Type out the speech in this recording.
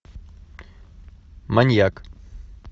маньяк